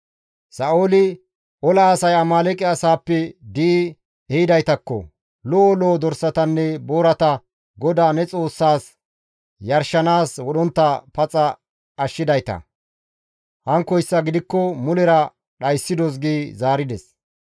Sa7ooli, «Ola asay Amaaleeqe asaappe di7i ehidaytakko; lo7o lo7o dorsatanne boorata GODAA ne Xoossaas yarshanaas wodhontta paxa ashshidayta; hankkoyssa gidikko mulera dhayssidos» gi zaarides.